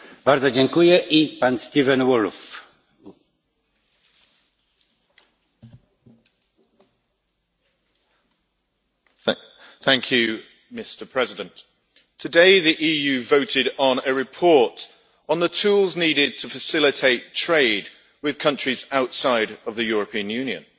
Mr President, today the EU voted on a report on the tools needed to facilitate trade with countries outside the European Union.